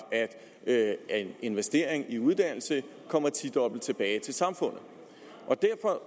at investering i uddannelse kommer tidobbelt tilbage til samfundet